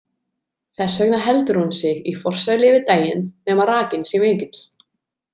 Þess vegna heldur hún sig í forsælu yfir daginn nema rakinn sé mikill.